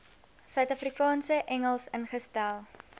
suidafrikaanse engels ingestel